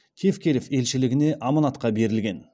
тевкелев елшілігіне аманатқа берілген